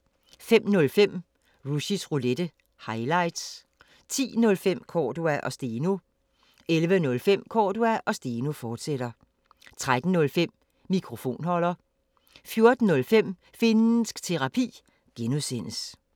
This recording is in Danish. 05:05: Rushys Roulette – highlights 10:05: Cordua & Steno 11:05: Cordua & Steno, fortsat 13:05: Mikrofonholder 14:05: Finnsk Terapi (G)